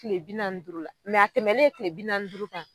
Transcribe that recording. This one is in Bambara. Tile bi naani ni duuru la mɛ a tɛmɛlen tile bi naani ni duuru kan,